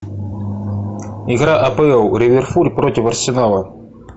игра апл ливерпуль против арсенала